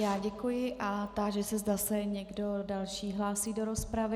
Já děkuji a táži se, zda se někdo další hlásí do rozpravy.